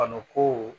Bana ko